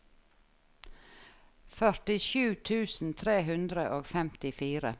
førtisju tusen tre hundre og femtifire